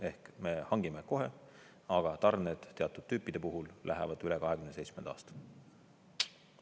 Ehk me hangime kohe, aga tarned teatud tüüpide puhul lähevad üle 2027. aasta.